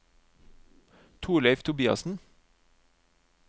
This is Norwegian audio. Torleif Tobiassen